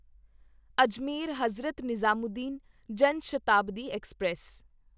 Ajmer Hazrat Nizamuddin Jan Shatabdi express